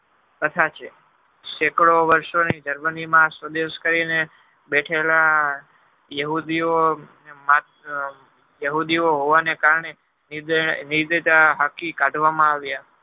સેંકડો વર્ષો ની germany ની માં સંદેશ કરી ને બેઠેલા બેહૂદી નો માત્ર બેહૂદીવો હોવાને કારણે હાંકી કાઢવામાં આવ્યુ